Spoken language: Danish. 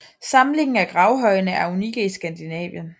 Samlingen af gravhøjene er unikke i Skandinavien